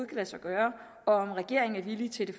kan lade sig gøre og om regeringen er villig til det